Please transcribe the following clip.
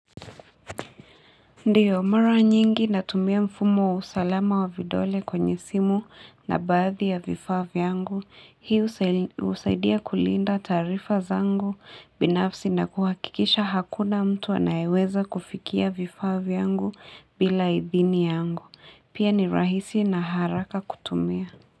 Ndio, mara nyingi natumia mfumo wa usalama wa vidole kwenye simu na baathi ya vifaa vyangu. Hii husaidia kulinda taarifa zangu binafsi na kuhakikisha hakuna mtu anayeweza kufikia vifaa vyangu bila idhini yangu. Pia ni rahisi na haraka kutumia.